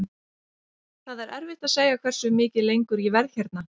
Það er erfitt að segja hversu mikið lengur ég verð hérna.